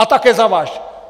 A také za váš!